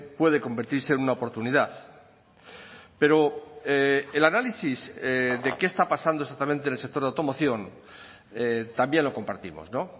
puede convertirse en una oportunidad pero el análisis de qué está pasando exactamente en el sector de automoción también lo compartimos no